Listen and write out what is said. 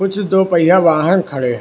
कुछ दो पहिया वाहन खड़े हैं।